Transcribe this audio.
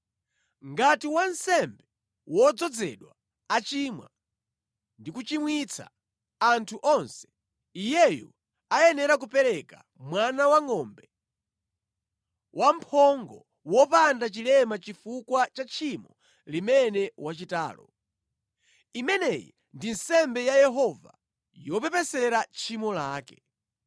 “ ‘Ngati wansembe wodzozedwa achimwa, ndi kuchimwitsa anthu onse, iyeyu ayenera kupereka mwana wangʼombe wamphongo wopanda chilema chifukwa cha tchimo limene wachitalo. Imeneyi ndi nsembe ya Yehova yopepesera tchimo lake.